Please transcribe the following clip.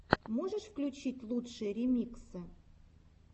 можешь включить лучшие ремиксы